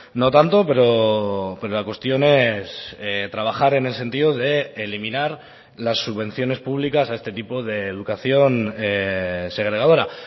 no tanto pero la cuestión es trabajar en el sentido de eliminar las subvenciones públicas a este tipo de educación segregadora